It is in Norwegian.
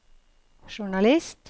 journalist